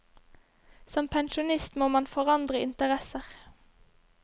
Som pensjonist må man forandre interesser.